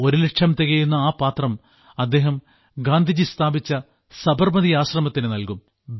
തന്റെ ദൌത്യത്തിലെ ഒരുലക്ഷം തികയ്ക്കുന്ന ആ പാത്രം അദ്ദേഹം ഗാന്ധിജി സ്ഥാപിച്ച സബർമതി ആശ്രമത്തിന് നൽകും